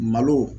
Malo